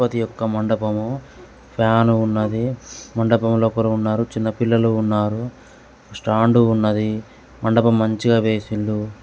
గణపతి యొక్క మండపము ఫ్యాన్ ఉన్నది. మండపంలో ఉన్నారు చిన్న పిల్లలు ఉన్నారు స్టాండ్ ఉన్నది మండపం మంచిగా వేసింది.